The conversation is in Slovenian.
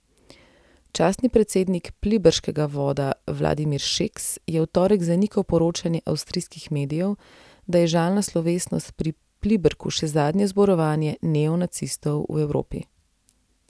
Častni predsednik pliberškega voda Vladimir Šeks je v torek zanikal poročanje avstrijskih medijev, da je žalna slovesnost pri Pliberku še zadnje zborovanje neonacistov v Evropi.